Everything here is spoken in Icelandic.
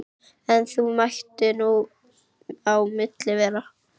En þó mætti nú á milli vera.